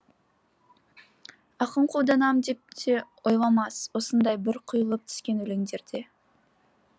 ақын қолданам деп те ойламас осындай бір құйылып түскен өлеңдерде